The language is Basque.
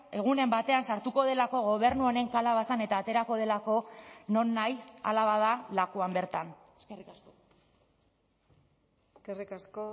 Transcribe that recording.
egunen batean sartuko delako gobernu honen kalabazan eta aterako delako nonahi hala bada lakuan bertan eskerrik asko eskerrik asko